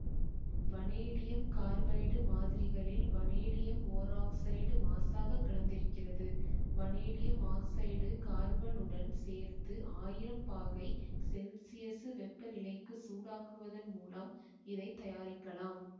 vanadium carbide மாதிரிகளில் vanadium ஓராக்சைடு மாசாகக் கலந்திருக்கிறது வனேடியம் ஆக்சைடை கார்பனுடன் சேர்த்து ஆயிரம் பாகை செல்சியசு வெப்பநிலைக்கு சூடாக்குவதன் மூலம் இதை தயாரிக்கலாம்